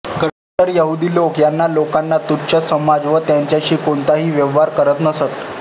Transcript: कट्टर यहुदी लोक या लोकांना तुच्छ समजत व त्यांच्याशी कोणताही व्यवहार करीत नसत